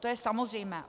To je samozřejmé.